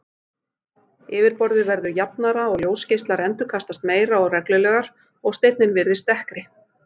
Yfirborðið verður jafnara og ljósgeislar endurkastast meira og reglulegar og steininn virðist dekkri.